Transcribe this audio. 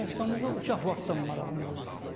Rəssamlığa uşaq vaxtdan marağım olub.